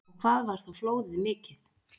Og hvað var þá flóðið mikið?